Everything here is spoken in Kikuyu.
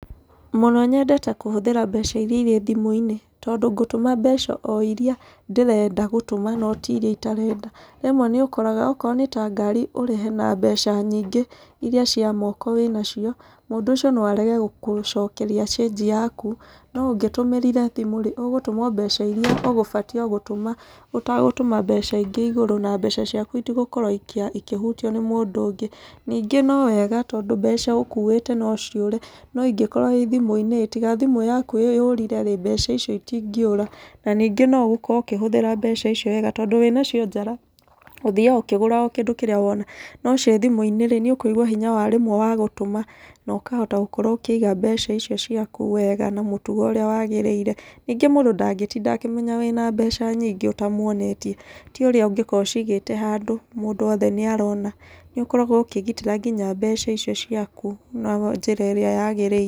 Mũno nyendete kũhũthĩra mbeca irĩa irĩ thimũ-inĩ. Tondũ ngũtũma mbeca o irĩa ndĩrenda gũtũma no ti irĩa itarenda. Rĩmwe nĩ ũkoraga, okorwo nĩ ta ngari ũrĩhe na mbeca nyingĩ irĩa cia moko wĩna cio, mũndũ ũcio no arege gũkũcokeria cĩnji yaku. No ũngĩtũmĩire thimũ rĩ, ũgũtũma mbeca o irĩa ũgũbatiĩ o gũtũma, ũtagũtũma mbeca ingĩ igũrũ na mbeca ciaku itigũkorwo ikĩhutio nĩ mũndũ ũngĩ. Ningĩ no wega, tondũ mbeca ũkuĩte no ciũre, no ingĩkorwo ii thimũ-inĩ, tiga thimũ yaku yũrire rĩ, mbeca icio itingĩũra. Na ningĩ no ũgũkorwo ũkĩhũthĩra mbeca icio wega. Tondũ wĩna cio njara ũthiaga ũkĩgũra o kĩndũ kĩrĩa wona. No ciĩ thimũ-inĩ rĩ, nĩ ũkũigua hinya wa rĩmwe wa gũtũma, na ũkahota gũkorwo ũkĩiga mbeca icio ciaku wega na mũtugo ũrĩa wagĩrĩire. Nyingĩ mũndũ ndangĩtinda akĩmenya wĩna mbeca nyingĩ ũtamuonetie. Ti ũrĩa ũngĩkorwo ũcigĩte handũ mũndũ wothe nĩ arona. Nĩ ũkoragwo ũkĩgitĩra nginya mbeca icio ciaku na njĩra ĩrĩa yagĩrĩire.